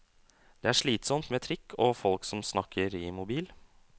Det er slitsomt med trikk og folk som snakker i mobil.